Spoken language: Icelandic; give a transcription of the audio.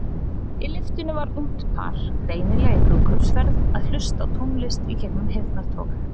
Í lyftunni var ungt par, greinilega í brúðkaupsferð, að hlusta á tónlist gegnum heyrnartól.